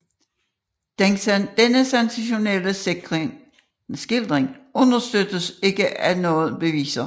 Denne sensationelle skildring understøttes ikke af nogen beviser